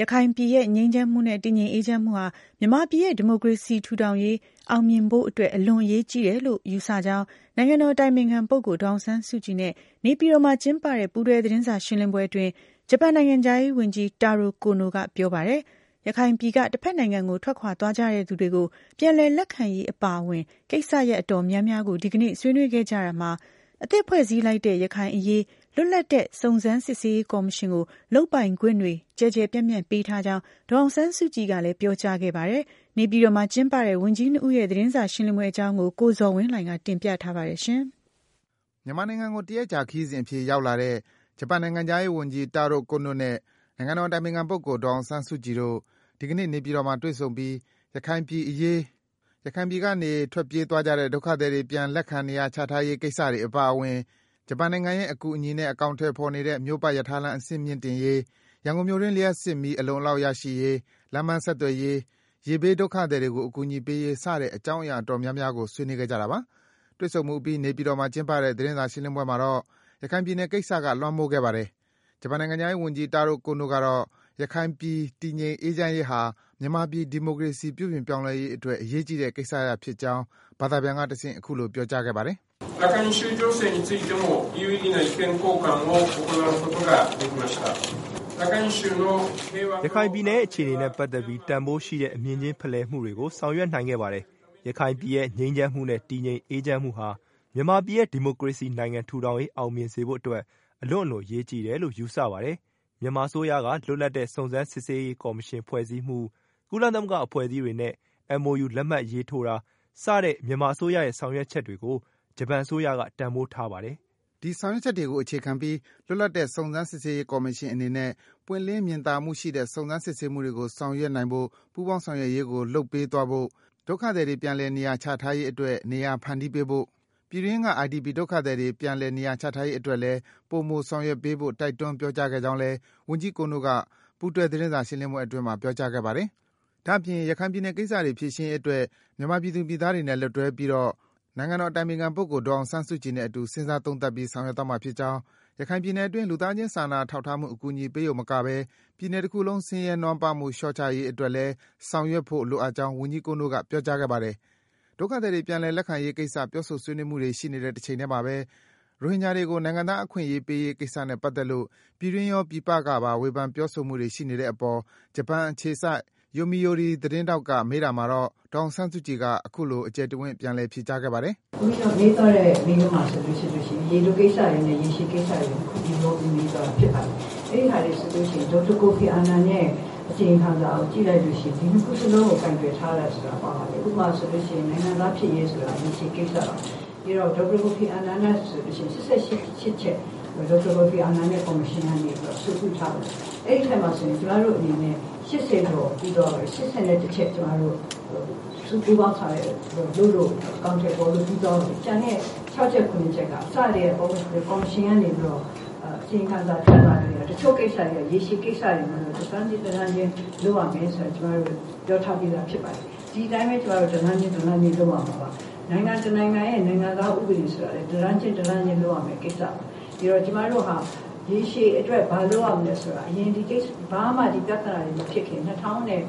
ရခိုင်ပြည်ရဲ့ ငြိမ်းချမ်းမှုနဲ့ တည်ငြိမ်အေးချမ်းမှုဟာ မြန်မာပြည်ရဲ့ ဒီမိုကရေနိုင်ငံ ထူထောင်ရေး အောင်မြင်စေဖို့အတွက် အလွန့်အလွန် အရေးကြီးတယ်လို့ ယူဆကြောင်း နိုင်ငံတော်အတိုင်ပင်ခံပုဂ္ဂိုလ် ဒေါ်အောင်ဆန်းစုကြည်နဲ့ နေပြည်တော်မှာ ကျင်းပတဲ့ ပူးတွဲ သတင်းစာရှင်းလင်းပွဲအတွင်း ဂျပန်နိုင်ငံခြားရေးဝန်ကြီး တာရို ကိုနိုကပြောပါတယ်။ ရခိုင်ပြည်က တဖက်နိုင်ငံကို ထွက်ခွာသွားကြသူများ ပြန်လည် လက်ခံရေးကိစ္စအပါအဝင် ကိစ္စရပ် အတော်အများများကို ဒီကနေ့ ဆွေးနွေးခဲ့ကြတာမှာ အသစ်ဖွဲ့စည်းလိုက်တဲ့ ရခိုင်အရေး လွတ်လပ်သော စုံစမ်း စစ်ဆေးရေးကော်မရှင်ကို လုပ်ပိုင်ခွင့်တွေ ကျယ်ကျယ်ပြန့်ပြန့်ပေးထားကြောင်း ဒေါ်အောင်ဆန်းစုကြည်ကလည်း ပြောကြားခဲ့ပါတယ်။ နေပြည်တော်မှာ ကျင်းပတဲ့ ဝန်ကြီး ၂ ဦးရဲ့ သတင်းစာရှင်းလင်းပွဲအကြောင်း ကိုဇော်ဝင်းလှိုင်က တင်ပြပေးပါတယ်။ မြန်မာနိုင်ငံကို တရက်ကြာ ခရီးစဉ်အဖြစ် ရောက်လာတဲ့ ဂျပန်နိုင်ငံခြားရေးဝန်ကြီး တာရို ကိုနိုနဲ့ နိုင်ငံတော်အတိုင်ပင်ခံပုဂ္ဂိုလ် ဒေါ်အောင်ဆန်းစုကြည်တို့ ဒီကနေ့ နေပြည်တော်မှာ တွေ့ဆုံပြီး ရခိုင်ပြည်အရေး၊ ရခိုင်ပြည်ကနေ ထွက်ပြေးသွားကြတဲ့ ဒုက္ခသည်တွေ ပြန်လက်ခံ၊ နေရာချထားရေး ကိစ္စတွေ အပါအဝင် ဂျပန်နိုင်ငံရဲ့ အကူအညီနဲ့ အကောင်အထည်ဖော်နေတဲ့ မြို့ပတ်ရထားလမ်း အဆင့်မြင့်တင်ရေး၊ ရန်ကုန်မြို့တွင်း လျှပ်စစ်မီး အလုံအလောက် ရရှိရေး၊ လမ်းပန်းဆက်သွယ်ရေး၊ ရေဘေး ဒုက္ခသည်တွေကို အကူအညီပေးရေး စတဲ့ အကြောင်းအရာ အတော်များများကို ဆွေးနွေးခဲ့ကြတာပါ။ တွေ့ဆုံမှုအပြီး နေပြည်တော်မှာ ဒီကနေ့ ကျင်းပတဲ့ သတင်းစာရှင်းလင်းပွဲမှာတော့ ရခိုင်ပြည်နယ်ကိစ္စက လွမ်းမိုးခဲ့ပါတယ်။ ဂျပန်နိုင်ငံခြားရေးဝန်ကြီး တာရို ကိုနိုကတော့ ရခိုင်ပြည် တည်ငြိမ် အေးချမ်းရေးဟာ မြန်မာပြည် ဒီမိုကရေစီ ပြုပြင်ပြောင်းလဲရေးအတွက် အရေးကြီးတဲ့ ကိစ္စရပ်ဖြစ်ကြောင်း ဘာသာပြန်ကတဆင့် အခုလို ပြောကြားခဲ့ပါတယ်။ “ရခိုင်ပြည်နယ်ရဲ့ အခြေအနေနဲ့ ပတ်သက်ပြီး တန်ဖိုးရှိတဲ့ အမြင်ချင်းဖလှယ်မှုတွေကို ဆောင်ရွက်နိုင်ခဲ့ပါတယ်။ ရခိုင်ပြည်ရဲ့ ငြိမ်းချမ်းမှုနဲ့ တည်ငြိမ်အေးချမ်းမှုဟာ မြန်မာပြည်ရဲ့ ဒီမိုကရေနိုင်ငံ ထူထောင်ရေး အောင်မြင်စေဖို့အတွက် အလွန့်အလွန် အရေးကြီးတယ်လို့ ယူဆပါတယ်။ မြန်မာအစိုးရက လွတ်လပ်တဲ့ စုံစမ်း စစ်ဆေးရေးကော်မရှင် ဖွဲ့စည်းမှု၊ ကုလသမဂ္ဂ အဖွဲ့အစည်းတွေနဲ့ MoU လက်မှတ်ရေးတာ စတဲ့ မြန်မာအစိုးရရဲ့ ဆောင်ရွက်ချက်တွေကို ဂျပန်အစိုးရက တန်ဖိုးထားပါတယ်။” ဒီဆောင်ရွက်ချက်တွေကို အခြေခံပြီး လွတ်လပ်တဲ့ စုံစမ်း စစ်ဆေးရေးကော်မရှင်အနေနဲ့ ပွင့်လင်း မြင်သာမှုရှိတဲ့ စုံစမ်း စစ်ဆေးမှုကို ဆောင်ရွက်နိုင်ဖို့ ပူးပေါင်း ဆောင်ရွက်ရေးကို လုပ်ပေးသွားဖို့၊ ဒုက္ခသည်တွေ ပြန်လည် နေရာချထားရေးအတွက် နေရာ ဖန်တီးပေးဖို့၊ ပြည်တွင်းက IDP ဒုက္ခသည်တွေ ပြန်လည် နေရာ ချထားရေးအတွက်လည်း ပိုမိုဆောင်ရွက်ပေးဖို့ တိုက်တွန်း ပြောကြား ခဲ့ကြောင်းလည်း ဝန်ကြီး ကိုနိုက ပူးတွဲ သတင်းစာ ရှင်းလင်းပွဲအတွင်း ပြောကြားခဲ့ပါတယ်။ ဒါ့အပြင် ရခိုင်ပြည်ကိစ္စတွေ ဖြေရှင်းရေးအတွက် မြန်မာပြည်သူ ပြည်သားတွေနဲ့ လက်တွဲပြီးတော့ နိုင်ငံတော်အတိုင်ပင်ခံပုဂ္ဂိုလ် ဒေါ်အောင်ဆန်းစုကြည်နဲ့အတူ စဉ်းစား သုံးသပ်ပြီး ဆောင်ရွက်မှာ ဖြစ်ကြောင်း၊ ရခိုင်ပြည်နယ်အတွင်း လူသားချင်း စာနာ ထောက်ထားမှု အကူအညီ ပေးရုံတင်မကဘဲ ပြည်နယ်တခုလုံး ဆင်းရဲ နွမ်းပါးမှု လျော့ချရေးအတွက်လည်း ဆောင်ရွက်ဖို့ လိုအပ်ကြောင်း ဝန်ကြီး ကိုနိုက ပြောကြားခဲ့ပါတယ်။ ဒုက္ခသည်တွေ ပြန်လည်လက်ခံရေးကိစ္စ ပြောဆို ဆွေးနွေးမှုတွေ ရှိနေတဲ့အချိန်မှာဘဲ ရိုဟင်ဂျာတွေကို နိုင်ငံသားအခွင့်အရေး ပေးရေးကိစ္စနဲ့ ပတ်သက်လို့ ပြည်တွင်းရော၊ ပြည်ပကပါ ဝေဖန် ပြောဆိုမှုတွေ ရှိနေတဲ့အပေါ် ဂျပန်အခြေစိုက် ယိုမီယိုရီ သတင်းထောက်က မေးတာမှာတော့ ဒေါ်အောင်ဆန်းစုကြည်က အခုလို ပြန်လည် ဖြေကြားခဲ့ပါတယ်။ “မေးသွားတဲ့ မေးခွန်းဟာဆိုလို့ရှိရင် ရေတိုကိစ္စတွေနဲ့ ရေရှည်ကိစ္စတွေ နှစ်ခုရောပြီး မေးသွားတာ ဖြစ်ပါတယ်။ အဲဒီဟာတွေ ဆိုလို့ရှိရင် ဒေါက်တာ ကိုဖီ အာနန်ရဲ့ အစီရင်ခံစာကို ကြည့်လိုက်လို့ရှိရင် နှစ်ခုစလုံးကို ကိုင်တွယ်ထားတယ်ဆိုတာ ပါပါတယ်။ ဥပမာ ဆိုလို့ရှိရင်၊ နိုင်ငံသားဖြစ်ရေးဆိုတာ ရေရှည်ကိစ္စပါ။ ပြီးတော့ ဒေါက်တာ ကိုဖီ အာနန်ရဲ့ ကော်မရှင်က ချက် အဆိုပြုထားပါတယ်။ အဲဒီအထဲမှာ ဆိုရင် ကျမတို့အနနဲ့ ကို ပူးပေါင်းဆောင်ရွက် အကောင်အထည်ဖော်လို့ ပြီးသွားပါပြီ။ ကျန်တဲ့ ၆ ချက်၊ ၇ ရက်က အစကတည်းက ကော်မရှင်ကနေပြီးတော့ အစီရင်ခံစာ ထုတ်ထားကတည်းက တချို့ကိစ္စတွေက ရေရှည်ကိစ္စတွေမို့လို့ တလှမ်းခြင်း၊ တလှမ်းခြင်း လုပ်ရမယ်ဆိုတာ ကျမတို့ ပြောထားပြီးသား ဖြစ်ပါတယ်။ ဒီအတိုင်းဘဲ ကျမတို့ တလှမ်းခြင်း၊ တလှမ်းခြင်း လုပ်ရမှာပါ။ နိုင်ငံ တနိုင်ငံရဲ့ နိုင်ငံသား ဥပဒေဆိုတာလည်း တလှမ်းခြင်း၊ တလှမ်းခြင်း လုပ်ရမယ့်ကိစ္စပါ။ ဒီတော့ ကျမတို့ဟာ ရေရှည်အတွက် ဘာလုပ်ရမလဲဆိုတာ အရင် ဘာမှ ဒီပြဿနာတွေ မဖြစ်ခင် ၂၀၁၆ ခုနှစ်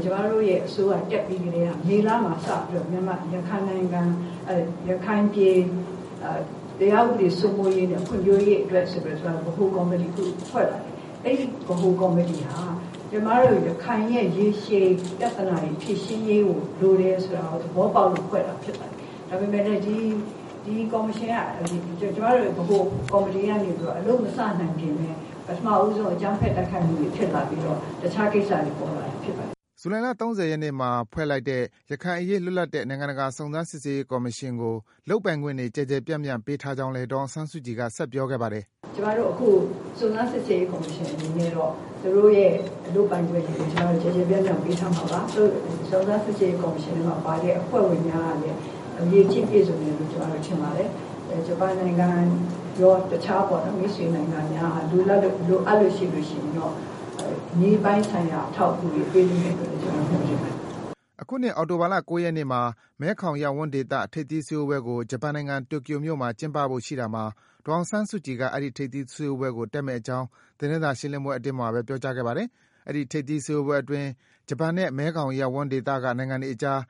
၊ ကျမတို့အစိုးရ တက်ပြီးကတည်းက မေလမှာစပြီးတော့ ရခိုင်ပြည် တရားဥပဒေ စိုးမိုးရေးနဲ့ ဖွံ့ဖြိုးရေးအတွက်ဆိုပြီးတော့ ကျမတို့ ဗဟိုကော်မီတီတခု ဖွဲ့ပါတယ်။ အဲဒီ ဗဟိုကော်မီတီဟာ ကျမတို့ ရခိုင်ရဲ့ ရေရှည်ပြဿနာတွေ ဖြေရှင်းရေးကို လိုတယ်ဆိုတာကို သဘောပေါက်လို့ ဖွဲ့တာ ဖြစ်ပါတယ်။ ဒါပေမယ့်လည်း ဒီကော်မရှင်က ကျမတို့ ဗဟိုကော်မီတီက အလုပ်မစနိုင်ခင် ပထမဦးဆုံး အကြမ်းဖက်တိုက်ခိုက်မှုတွေ ဖြစ်လာပြီးတော့ တခြားကိစ္စတွေ ပေါ်လာတာ ဖြစ်ပါတယ်။” ဇူလိုင်လ ၃၀ ရက်နေ့မှာ ဖွဲ့လိုက်တဲ့ ရခိုင်အရေး လွတ်လပ်တဲ့ နိုင်ငံတကာ စုံစမ်းစစ်ဆေးရေး ကော်မရှင်ကို လုပ်ပိုင်ခွင့်တွေ ကျယ်ကျယ်ပြန့်ပြန့် ပေးထားကြောင်းလည်း ဒေါ်အောင်ဆန်းစုကြည်က ဆက်ပြောခဲ့ပါတယ်။ “ကျမတို့အခု စုံစမ်းစစ်ဆေးရေး ကော်မရှင်အနေနဲ့တော့ သူတို့ရဲ့ လုပ်ပိုင်ခွင့်တွေကို ကျမတို့ ကျယ်ကျယ်ပြန့်ပြန့် ပေးထားမှာပါ။ စုံစမ်း စစ်ဆေးရေးထဲမှာပါတဲ့ အဖွဲ့ဝင်များကလည်း အရည်အချင်း ပြည့်စုံတယ်လို့ ကျမတို့ ထင်ပါတယ်။ ဂျပန်နိုင်ငံရော၊ တခြားပေါ့နော်၊ မိတ်ဆွေ နိုင်ငံများက လိုအပ်လို့ရှိရင်တော့ နည်းပညာပိုင်းဆိုင်ရာ အထောက်အကူတွေ ပေးလိမ့်မယ်လို့ ကျမတို့ မျှော်လင့်ပါတယ်။” အခုနှစ် အောက်တိုဘာလ ၉ ရက်နေ့မှာ မဲခေါင်ရပ်ဝန်းဒေသ ထိပ်သီးစည်းဝေးပွဲကို ဂျပန်နိုင်ငံ၊ တိုကျိုမှာ ကျင်းပဖို့ ရှိတာမှာ ဒေါ်အောင်ဆန်းစုကြည်က အဲဒီ ထိပ်သီးစည်းဝေးပွဲကို တက်မယ့်အကြောင်း သတင်းစာရှင်းလင်းပွဲအတွင်းမှာဘဲ ပြောကြားခဲပါတယ်။ အဲဒီ ထိပ်သီး စည်းဝေးပွဲအတွင်း ဂျပန်နဲ့ မဲခေါင်ရပ်ဝန်းဒေသက နိုင်ငံတွေအကြား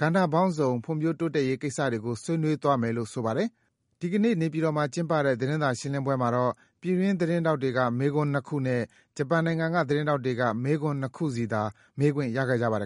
ကဏ္ဍပေါင်းစုံ ဖွံ့ဖြိုး တိုးတက်ရေးကိစ္စတွေကို ဆွေးနွေးသွားမယ်လို့ သိရပါတယ်။ ဒီကနေ့ နေပြည်တော်မှာ ကျင်းပတဲ့ သတင်းစာရှင်းလင်းပွဲမှာတော့ ပြည်တွင်း သတင်းထောက်တွေက မေးခွန်း ၂ ခုနဲ့ ဂျပန်နိုင်ငံက သတင်းထောက်တွေက မေးခွန်း ၂ ခုစီသာ မေးခွင့် ရခဲ့ကြပါတယ်